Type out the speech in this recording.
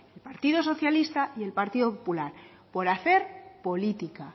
el partido socialista y el partido popular por hacer política